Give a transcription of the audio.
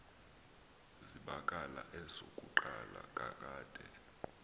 zibakala esokuqala kakade